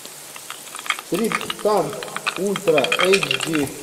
триптанк ультра эйч ди